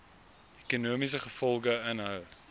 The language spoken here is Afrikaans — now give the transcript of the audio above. ekonomiese gevolge inhou